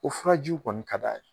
O furajiw kɔni ka d'a ye.